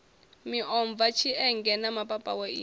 miomva tshienge na mapapawe i